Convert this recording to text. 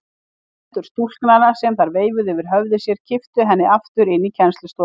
Hendur stúlknanna sem þær veifuðu yfir höfði sér kipptu henni aftur inn í kennslustofuna.